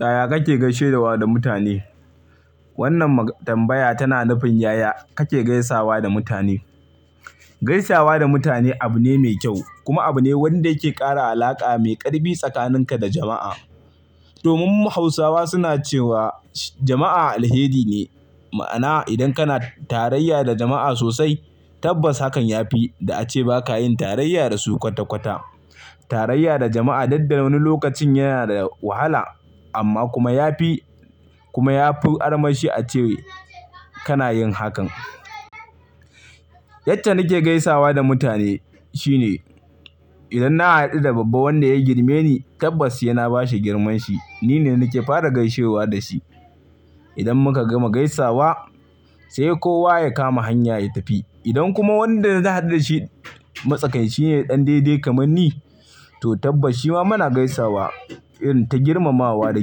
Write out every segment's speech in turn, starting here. Yaya kake gaishewa da mutane? Wannan tambaya tana nufin yaya kake gaisawa da mutane. Gaisawa da mutane abu ne mai kyau kuma abu ne wanda yake ƙara alaƙa mai ƙarfi tsakaninka da jama'a. Domin mu Hausawa suna cewa jama'a alheri ne, ma'ana idan kana tarayya da jama'a sosai tabbas hakan ya fi da ace ba ka yin tarayya da su kwata-kwata. Tarayya da jama'a dukda wani lokacin yana da wahala amma kuma ya fi, kuma ya fi armashi a ce kana yin hakan. Yadda nike gaisawa da mutane shine idan na haɗu da babba wanda ya girme ni tabbas saina ba shi girmanshi. Ni ne nake fara gaishewa da shi. Idan muka gama gaisawa sai kowa ya kama hanya ya tafi. Idan kuma wanda na haɗu da shi matsakainshi ne ɗan daidai kamar ni, to tabbashiwa mana gaisawa irin ta girmamawa da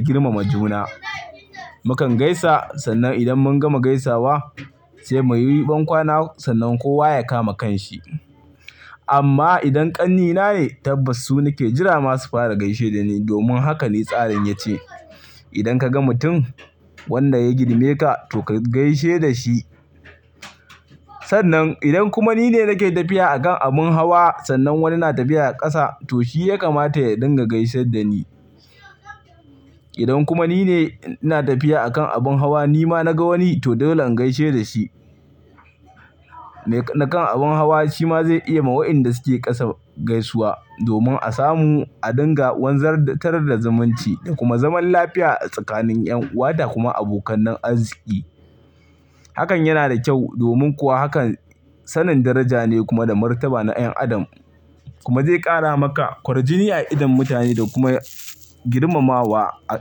girmama juna. Mukan gaisa sannan idan mun gama gaisawa sai muyi bankwana sannan kowa ya kama kanshi. Amma idan ƙannina ne tabbas su nake jira masu fara gaishe da ni domin haka ne tsarin ya ce. Idan ka ga mutum wanda ya girme ka to ka gaishe da shi. Sannan idan kuma ni ne nake tafiya a kan abin hawa sannan wani na tafiya a ƙasa to shi ya kamata ya dinga gaisar da ni. Idan kuma ni ne ina tafiya a kan abin hawa nima na ga wani to dole in gaishe da shi. Me na kan abin hawa shi ma zai iya ma waɗanda suke ƙasa gaisuwa domin a samu a dinga wanzatar da zumunci da kuma zaman lafiya tsakanin 'yan uwa da kuma abokan nan arziki. Hakan yana da kyau domin kuwa hakan sanin daraja ne kuma da martaba na 'yan adam kuma zai ƙara maka ƙwarjini a idon mutane da kuma girmamawa a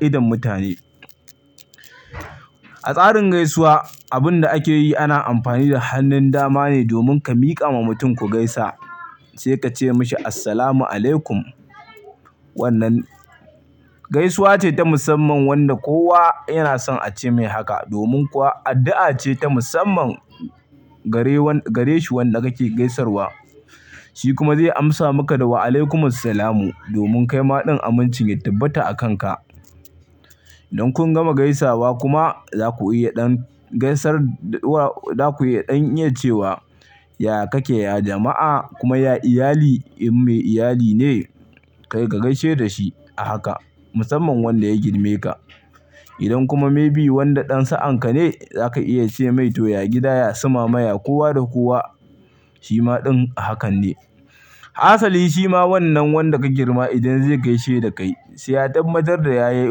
idon mutane. A tsarin gaisuwa abin da ake yi ana amfani da hannun dama ne domin ka miƙa ma mutum ku gaisa sai ka ce mashi "Assalamu alaikum". Wannan gaisuwa ce ta musamman wanda kowa yana son ace mai haka domin kuwa addu'a ce ta musamman gare wanda-- gare shi wanda kake gaisarwa. Shi kuma zai amsa maka da "Waalaikumussalam" domin kai ma ɗin aminci ya tabbata a kanka. Idan kun gama gaisawa kuma za ku iya ɗan gaisar-- za ku iya ɗan iya cewa, "Ya kake jama'a kuma ya iyali in mai iyaline ka gaishe da shi a haka musamman wanda ya girme ka. Idan kuma may bebwanda ɗan sa'anka ne za ka iya ce mai "to, ya gida yasu mama ya kowa da kowa?" Shi ma ɗin hakan ne. Hasali shi ma wannan wanda ka girma idan zai gaishe da kai sai ya tabbatar da ya yi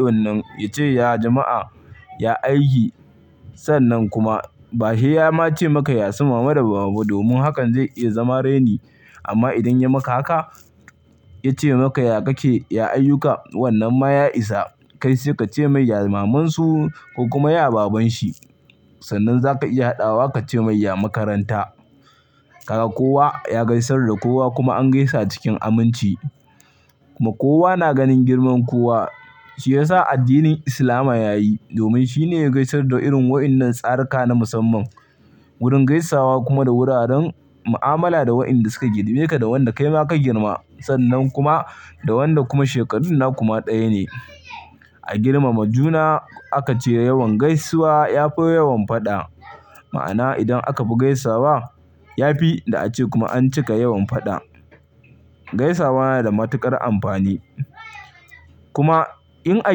wannan ya ce, "Ya jama'a, ya aiki." Sannan kuma ba saiya ma ce maka, "Ya suma da babu" domin hakan zai iya zama raini amma idan ya maka haka ya ce maka, "Ya kake, ya ayyuka." wannan ma ya isa kai sai ka ce mai, "Ya mamansu ko kuma ya babanshi." Sannan za ka iya haɗawa ka ce mai, "Ya makaranta." Kaga kowa ya gaisar da kowa kuma an gaisa cikin aminci kuma kowa na ganin girman kowa. Shi yasa addinin Islama ya yi domin shi ne ya gaisar da irin waɗannan tsaruka na musamman. Wurin gaisawa kuma da wuraren mu'amala da waɗanda suka girme ka da wanda kaima ka girma sannan kuma da wanda kuma shekarun na kuma ɗaya ne. A girmama juna aka ce yawan gaisuwa ya fi yawan faɗa. Ma'ana idan aka fi gaisawa ya fi da ace kuma an cika yawan faɗa. Gaisawa yana da matuƙar amfani. Kuma in a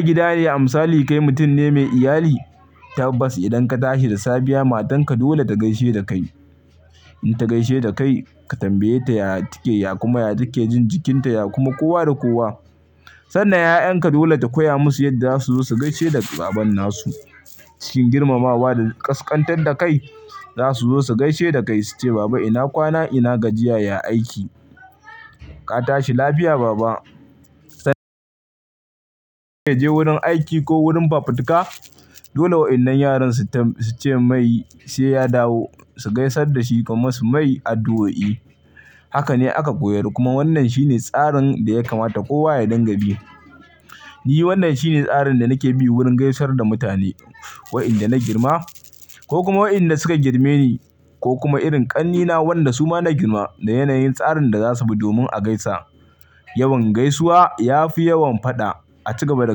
gida ne amsali kai mutum ne mai iyali tabbas idan ka tashi da safiya matanka dole ta gaishe da kai. In ta gaishe da kai ka tambaye ta ya take ya kuma ya take jin jikinta ya kuma kowa da kowa. Sannan 'ya'yanka dole ta koya musu yadda za su zo su gaishe da babban nasu cikin girmamawa da ƙasƙantar da kai. Za su zo su gaishe da kai su ce, "Baba ina kwana, ina gajiya, ya aiki. Ka tashi lafiya baba." Kai je wurin aiki ko wurin fafutuka dole waɗannan yaran su ce mai sai ya dawo su gaisar da shi kuma su mai addu'o'i. Haka ne aka koyar kuma wannan shi ne tsarin da ya kamata kowa ya dinga bi. Ni wannan shi ne tsarin da nake bi wurin gaisar da mutane waɗanda na girma ko kuma waɗanda suka girme ni ko kuma irin ƙannena waɗanda su ma na girma da yanayin tsarin da za su bi domin a gaisa. Yawan gaisuwa ya fi yawan faɗa a cigaba da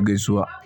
gaisuwa.